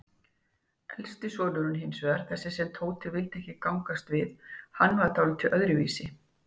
Elsti sonurinn hinsvegar, þessi sem Tóti vildi ekki gangast við, hann var dáldið öðruvísi.